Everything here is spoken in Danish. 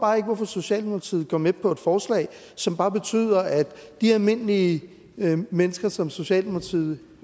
hvorfor socialdemokratiet går med på et forslag som bare betyder at de almindelige mennesker som socialdemokratiet